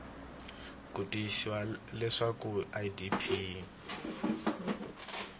ku tiyisisa leswaku idp yi